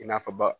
I n'a fɔ ba